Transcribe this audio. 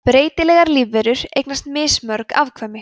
breytilegar lífverur eignast mismörg afkvæmi